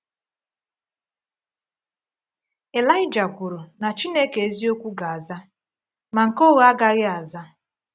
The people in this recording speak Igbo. Ịlaịja kwuru na Chineke eziokwu ga-aza, ma nke ụgha agaghị aza.